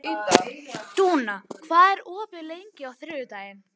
Dúna, hvað er opið lengi á þriðjudaginn?